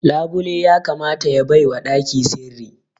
Labule ya kamata ya baiwa ɗaki sirri